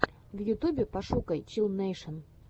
в ютубе пошукай чилл нэйшен